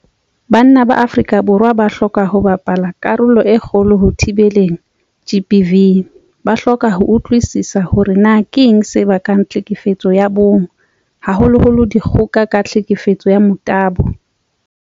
Banna ba Afrika Borwa ba hloka ho bapala karolo e kgolo ho thibeleng GBV. Ba hloka ho utlwisisa hore na keng se bakang tlhekefetso ya bong, haholoholo dikgoka ka tlhekefetso ya motabo.